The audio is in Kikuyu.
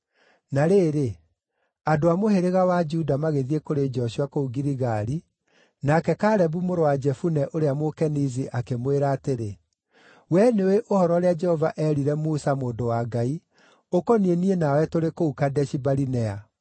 Na rĩrĩ, andũ a mũhĩrĩga wa Juda magĩthiĩ kũrĩ Joshua kũu Giligali, nake Kalebu mũrũ wa Jefune ũrĩa Mũkenizi akĩmwĩra atĩrĩ, “Wee nĩũũĩ ũhoro ũrĩa Jehova eerire Musa mũndũ wa Ngai ũkoniĩ niĩ nawe tũrĩ kũu Kadeshi-Barinea.